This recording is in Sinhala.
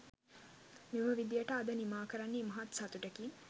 මේ විදියට අද නිමා කරන්නේ ඉමහත් සතුටකින්